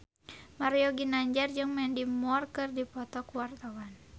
Mario Ginanjar jeung Mandy Moore keur dipoto ku wartawan